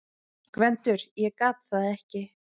GVENDUR: Ég gat það ekki!